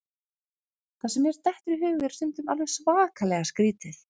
Það sem mér dettur í hug er stundum alveg svakalega skrítið.